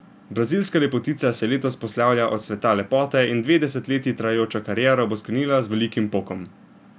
Brazilska lepotica se letos poslavlja od sveta lepote in dve desetletji trajajočo kariero bo sklenila z velikim pokom.